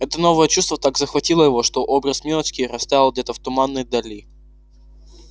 это новое чувство так захватило его что образ милочки растаял где-то в туманной дали